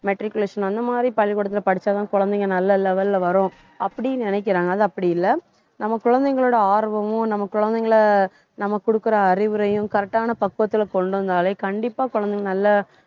matriculation அந்த மாதிரி பள்ளிக்கூடத்திலே படிச்சாதான் குழந்தைங்க நல்ல level ல வரும் அப்படி நினைக்கிறாங்க அது அப்படி இல்லை நம்ம குழந்தைங்களோட ஆர்வமும் நம்ம குழந்தைங்களை நம்ம கொடுக்கிற அறிவுரையும் correct ஆன பக்குவத்திலே கொண்டு வந்தாலே கண்டிப்பா குழந்தைங்க நல்ல